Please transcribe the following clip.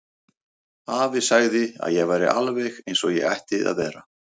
Afi sagði að ég væri alveg eins og ég ætti að vera.